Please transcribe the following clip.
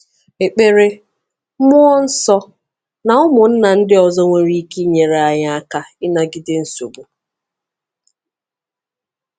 Ekpere, mmụọ nsọ, na ụmụnna ndị ọzọ nwere ike inyere anyị aka ịnagide nsogbu.